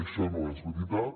això no és veritat